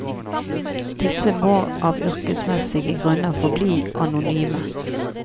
Disse må, av yrkesmessige grunner, forbli anonyme.